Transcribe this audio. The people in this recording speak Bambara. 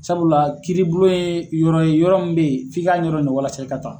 Sabula kiiribulon ye yɔrɔ ye yɔrɔ min bɛ ye f'i k'a ɲɛdɔn